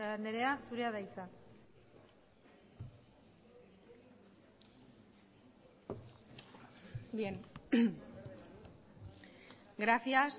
anderea zurea da hitza gracias